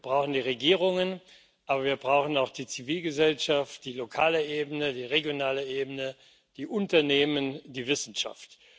Wir brauchen die Regierungen, wir brauchen aber auch die Zivilgesellschaft, die lokale Ebene, die regionale Ebene, die Unternehmen, die Wissenschaft.